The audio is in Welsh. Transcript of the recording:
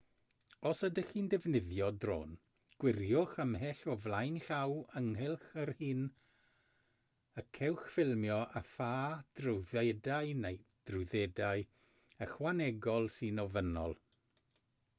os ydych chi'n defnyddio drôn gwiriwch ymhell o flaen llaw ynghylch yr hyn y cewch ffilmio a pha drwyddedau neu drwyddedau ychwanegol sy'n ofynnol